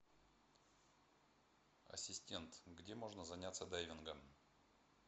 ассистент где можно заняться дайвингом